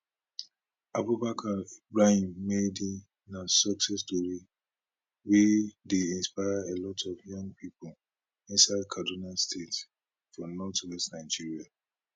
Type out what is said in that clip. abubakar ibrahim maidi na success tori wey dey inspire a lot of young pipo inside kaduna state for northwest nigeria